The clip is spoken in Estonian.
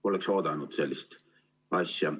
Poleks oodanud sellist asja.